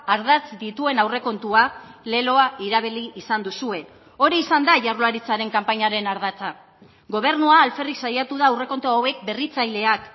ardatz dituen aurrekontua leloa erabili izan duzue hori izan da jaurlaritzaren kanpainaren ardatza gobernua alferrik saiatu da aurrekontu hauek berritzaileak